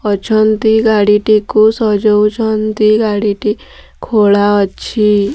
ଅଛନ୍ତି ଗାଡ଼ିଟିକୁ ସଜଉଛନ୍ତି ଗାଡ଼ି ଟି ଖୋଲା ଅଛି।